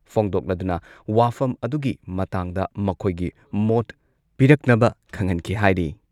ꯐꯣꯡꯗꯣꯛꯂꯗꯨꯅ ꯋꯥꯐꯝ ꯑꯗꯨꯒꯤ ꯃꯇꯥꯡꯗ ꯃꯈꯣꯏꯒꯤ ꯃꯣꯠ ꯄꯤꯔꯛꯅꯕ ꯈꯪꯍꯟꯈꯤ ꯍꯥꯏꯔꯤ ꯫